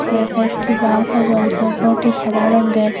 একটি বাল্বও জ্বলছে উপরেরটি সাদা রঙ্গের।